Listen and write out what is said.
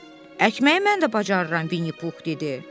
Əkməyi mən də bacarıram, Vinnipux dedi.